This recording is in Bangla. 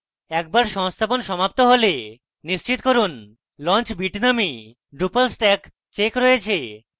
একবার সংস্থাপন সমাপ্ত হলে নিশ্চিত করুন launch bitnami drupal stack checked রয়েছে